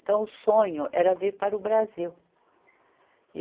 Então o sonho era vir para o Brasil.